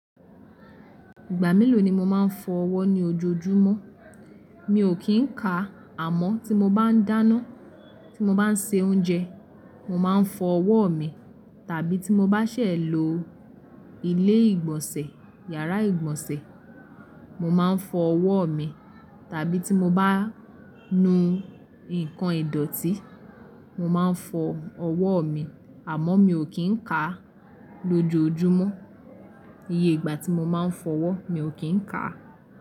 Ìgbà mélòó ni mo máa ń fọ ọwọ́ ní ojoojúmọ́? Mi ò kí ń kà, àmọ́ tí mọ bá ń dáná, tí mọ bá ń se oúnjẹ, mọ má ń fọ ọwọ́ mi, tàbí tí mọ bá ṣẹ̀ lọ ilé ìgbọ̀nsẹ̀, yàrá ìgbọ̀nsẹ̀, mo má ń fọ ọwọ́ mi, tàbí tí mo bá nu nǹkan ìdọ̀tí, mọ máa ń fọ ọwọ́ mi, àmọ́ mi ò kí ń kà lójojúmọ́. Iye ìgbà tí mo máa ń fọ ọwọ́, mi ò kí ń kà á.